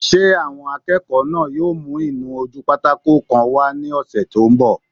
Ṣé àwọn akẹ́kọ̀ọ́ náà yóò mú ìnu-ojúpátákó kan wá ní ọsẹ́ tó n bọ̀?